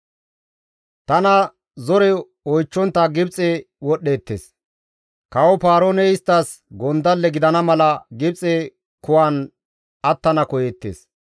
Tana zore oychchontta Gibxe wodhdheettes; kawo Paarooney isttas gondalle gidana mala Gibxe kuwan attana koyeettes.